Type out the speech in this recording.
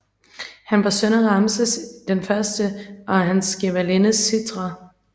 Han var en søn af Ramses I og hans gemalinde Sitre